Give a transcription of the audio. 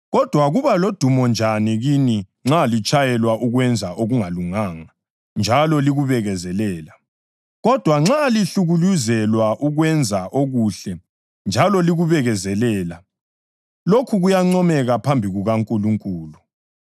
Kodwa kuba ludumo njani kini nxa litshayelwa ukwenza okungalunganga njalo likubekezelela? Kodwa nxa lihlukuluzelwa ukwenza okuhle njalo likubekezelela, lokhu kuyancomeka phambi kukaNkulunkulu.